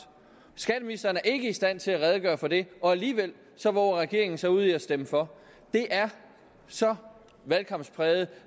skatteministeren er ikke i stand til at redegøre for det og alligevel vover regeringen sig ud i at stemme for det er så valgkampspræget